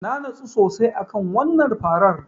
Na nutsu sosai a kan wannan Farar.